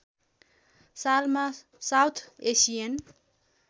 सालमा South Asian